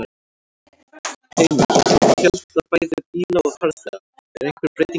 Heimir: Hvað með fjölda bæði bíla og farþega, er einhver breyting þar?